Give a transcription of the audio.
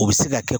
U bɛ se ka kɛ